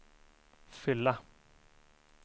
fylla